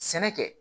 Sɛnɛ kɛ